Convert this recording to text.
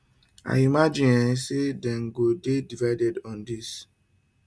i imagine um say dem go dey divided on dis